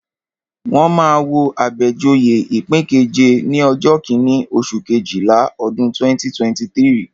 Wọ́n máa wo Abejoye ipin keje ní ọjọ́ kíní, oṣù Kejìlá, ọdún 2023.